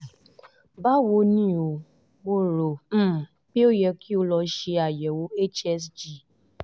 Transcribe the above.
báwo ni o? mo rò um pé ó yẹ kí ẹ lọ ṣe àyẹ̀wò hsg